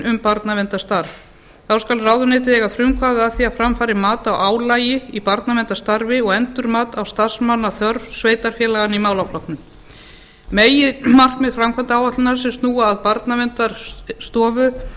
um barnaverndarstarf þá skal ráðuneytið eiga frumkvæði að því að fram fari mat á álagi í barnaverndarstarfi og endurmat á starfsmannaþörf sveitarfélaganna í málaflokkinum meginmarkmið framkvæmdaáætlunarinnar sem snúa að barnaverndarstofu eru í fjórum